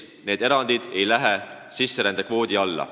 Need erandid ei lähe sisserändekvoodi alla.